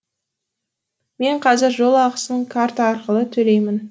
мен қазір жол ақысын карта арқылы төлеймін